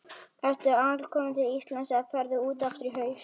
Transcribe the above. Ertu alkominn til Íslands eða ferðu út aftur í haust?